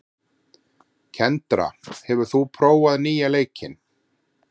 Kendra, hefur þú prófað nýja leikinn?